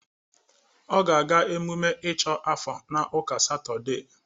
Ọ ga-aga emume ịchọ afó n'uka satụde.